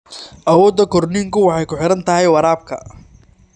Awoodda korniinku waxay ku xiran tahay waraabka.